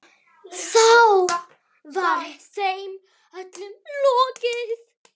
Þá var þeim öllum lokið.